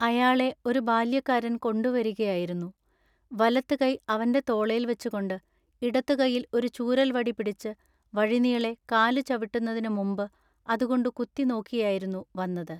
അയാളെ ഒരു ബാല്യക്കാരൻ കൊണ്ടുവരികയായിരുന്നു. വലത്തുകൈ അവന്റെ തോളേൽ വച്ചുകൊണ്ടു ഇടത്തുകയ്യിൽ ഒരു ചൂരൽ വടി പിടിച്ച് വഴിനീളെ കാലു ചവിട്ടുന്നതിനു മുമ്പു അതുകൊണ്ടു കുത്തി നോക്കിയായിരുന്നു വന്നത്.